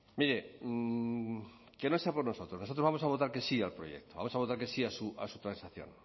mire que no sea por nosotros nosotros vamos a votar que sí al proyecto vamos a votar que sí a su transacción